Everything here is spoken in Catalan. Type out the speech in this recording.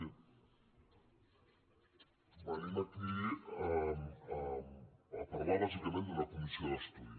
venim aquí a parlar bàsicament d’una comissió d’estudi